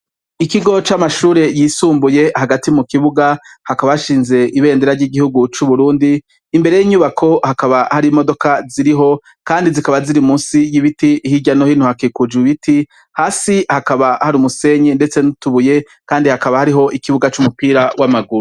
Ikigo c'amashure yisumbuye hagati mukibuga hakaba hashinze ibendera ry'igihugu c'Uburundi, imbere yinyubako hakaba hari imodoka ziriho kandi zikaba ziri musi yibiti hirya no hino hakikujwe ibiti, hasi hakaba hari umusenyi ndetse nutubuye kandi hakaba hariho ikibuga cumupira wamaguru.